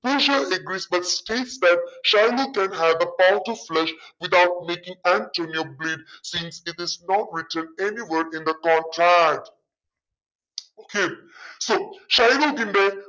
പോഷിയ agrees but that Shylock can have a power to without making Antonio bleed since it is not mentioned anywhere in the court okay so ഷൈലോക്കിന്റെ